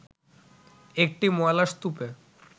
একটি ময়লার স্তূপে